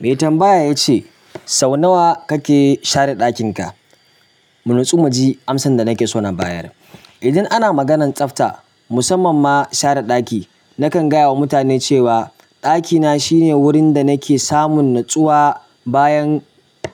Mai tambaya ya ce, sau nawa kake share ɗakin ka? Mu natsu mu ji amsa da nake so na bayar. Idan ana maganan tsafta, musamman ma share ɗaki, nakan gaya wa mutane cewa ɗakina shine wurin da nake samun natsuwa bayan